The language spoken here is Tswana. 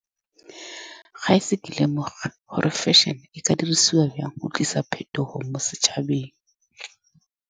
Ga e se ke lemoge gore fashion-e e ka dirisiwa jang go tlisa phetogo mo setšhabeng.